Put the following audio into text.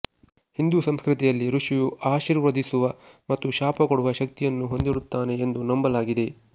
ಹಿಂದೂ ಸಂಸ್ಕೃತಿಯಲ್ಲಿ ಋಷಿಯು ಆಶೀರ್ವದಿಸುವ ಮತ್ತು ಶಾಪ ಕೊಡುವ ಶಕ್ತಿಯನ್ನು ಹೊಂದಿರುತ್ತಾನೆ ಎಂದು ನಂಬಲಾಗಿದೆ